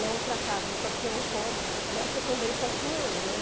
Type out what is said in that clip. Na outra casa só tinha um cômodo, nessa também só tinha um, né?